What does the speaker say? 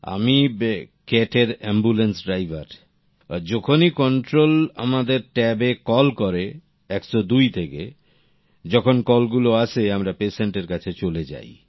প্রেম জীআমি ক্যাট এর ambulance driver যখনই কন্ট্রোল আমাদের ট্যাবে কল করে ১০২ থেকে যখন কল গুলো আসে আমরা পেশেন্টের কাছে চলে যাই